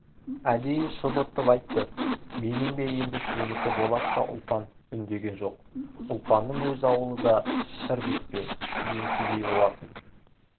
әдейі шұбыртып айтты менің бе енді сенікі болат та ұлпан үндеген жоқ ұлпанның өз ауылы да шыр бітпе ген кедей болатын